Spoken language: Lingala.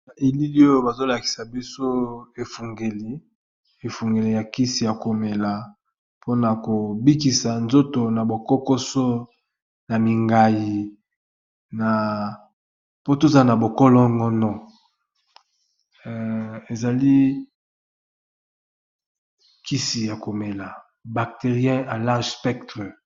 Na elili oyo bazo lakisa biso efungeli, efungeli ya kisi ya komela mpona ko bikisa nzoto na bo kokoso na mingai na po tozala na bo kolongono ezali kisi ya komela bacterien alarge spectre.